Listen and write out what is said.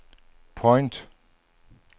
point